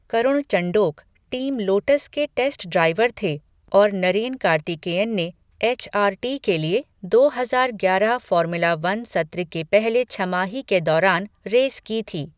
करुण Chandhok, team Lotus के test driver थे और नरेन कार्तिकेयन ने एच आर टी के लिए दो हजार ग्यारह फॉर्मूला वन सत्र के पहले छमाही के दौरान रेस की थी।